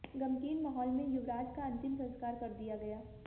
गमगीन माहौल में युवराज का अंतिम संस्कार कर दिया गया